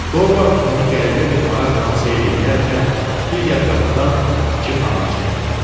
Dorvard onu qəribə bir maraqla seyr eləyərkən, digər qapıdan iki xanım çıxdı.